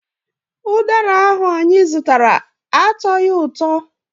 Ụdara ahụ anyị zụtara atọghị ụtọ.